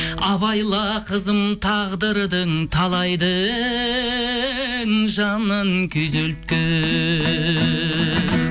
абайла қызым тағдырдың талайдың жанын күйзелткен